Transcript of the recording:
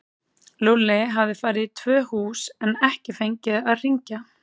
Lúlli hafði farið í tvö hús en ekki fengið að hringja.